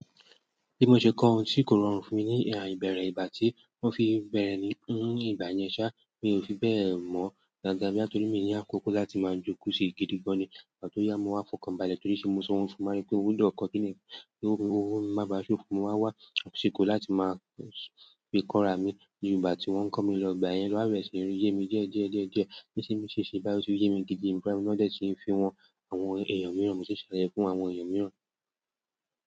Bí mo ṣe kọ́ ohun tí kò rọrùn fún mi ní ìbẹ̀rẹ̀ ìgbà tí wọ́n fi bẹ̀rẹ̀ ní ìgbà yẹn ṣá, mi ò fi bẹ́ẹ̀ mọ́ dáadáa bóyá torí mií ní àkókò láti máa jókòó sí gidi gan ni, ìgbà tó ya mo wá fọkàn balẹ̀ torí ṣe ni mo san owó fún mo wá rí pé mo gbọ́dọ̀ kọ́ kíni yí kí owó mi máa bá a ṣófun, mo wá wá àsìkò láti máa fi kọ́ra mi. Jù ìgbà tí wọ́n ń kó mi lọ, ìgbà yẹn ló wá bẹ̀rẹ̀ sí ní yé mi díẹ̀ díẹ̀ díẹ̀ díẹ̀, bó ṣe ń ṣe ṣe báyìí ó ti yé mi gidi èmi fúnra mi náà dé tí ń fi hàn àwọn èèyàn miiiran mo tún ṣàlàyé fún àwọn èèyàn mìíràn.